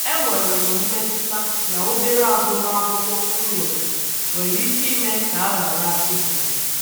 Enwere m mmetụta um na obere agụmakwụkwọ um m um nwere nwere ike ime ka a ghara ka a ghara ịhọrọ m.